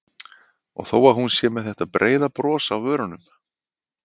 Og þó að hún sé með þetta breiða bros á vörunum.